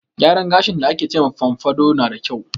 Gyaran gashin da ake ce ma fomfado na da kyau.